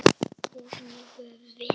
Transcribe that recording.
Og nú höfum við